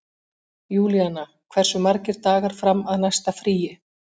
Júlíanna, hversu margir dagar fram að næsta fríi?